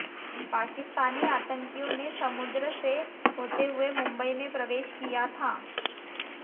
पाकिस्तानी आतंकियों ने समुद्र से होते हुए मुंबई में प्रवेश किया था